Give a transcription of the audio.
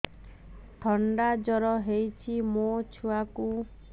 ଥଣ୍ଡା ଜର ହେଇଚି ମୋ ଛୁଆକୁ